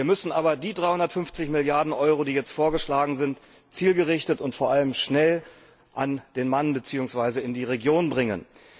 Wir müssen aber die 350 Milliarden Euro, die jetzt vorgeschlagen sind, zielgerichtet und vor allem schnell an den Mann bzw. in die Regionen bringen.